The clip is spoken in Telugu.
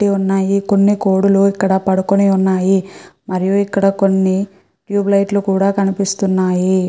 పెట్టి ఉన్నాయి కొన్ని కోడులు ఇక్కడ పడుకుని ఉన్నాయి మరియు ఇక్కడ కొన్ని ట్యూబ్ లైట్ లు కూడా కనిపిస్తున్నాయి.